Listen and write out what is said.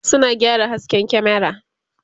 suna gyara hasken kyamera